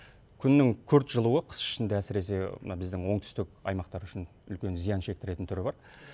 күннің күрт жылуы қыс ішінде әсіресе мына біздің оңтүстік аймақтар үшін үлкен зиян шектіретін түрі бар